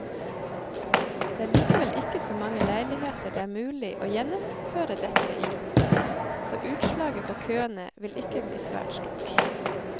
Det er likevel ikke så mange leiligheter det er mulig å gjennomføre dette i, så utslaget på køene vil ikke bli svært stort.